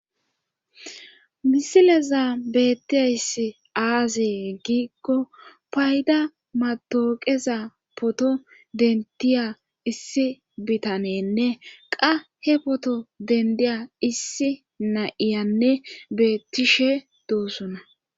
misilezan bettiyayssi aazee giigko payda matooqeza poto dentiya issi bitanenne qa he poto dendiya issi na7iyanne beettishe doossona